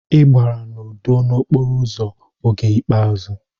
Ị gbara n'udo n'okporo ụzọ oge ikpeazụ.